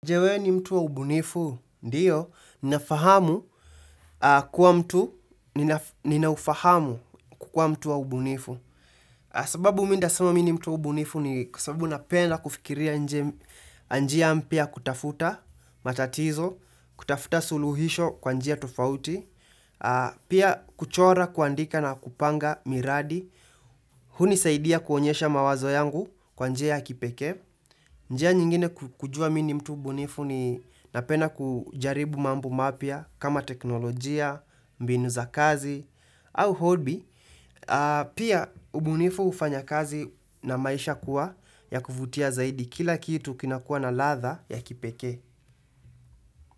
Je wewe ni mtu wa ubunifu? Ndiyo, ninafahamu kuwa mtu, ninaufahamu kukuwa mtu wa ubunifu. Sababu mimi nitasema mimi ni mtu wa ubunifu ni kwa sababu napenda kufikiria nje, njia mpya kutafuta matatizo, kutafuta suluhisho kwa njia tofauti, pia kuchora kuandika na kupanga miradi. Hunisaidia kuonyesha mawazo yangu kwa njia ya kipekee. Njia nyingine kujua mimi ni mtu mbunifu ni napenda kujaribu mambu mapya kama teknolojia, mbinu za kazi au hobby, pia ubunifu hufanya kazi na maisha kuwa ya kuvutia zaidi kila kitu kinakuwa na ladha ya kipekee.